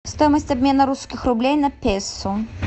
стоимость обмена русских рублей на песо